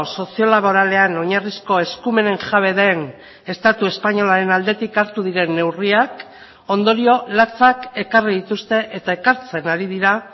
sozio laboralean oinarrizko eskumenen jabe den estatu espainolaren aldetik hartu diren neurriak ondorio latzak ekarri dituzte eta ekartzen ari dira